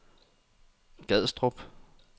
Gadstrup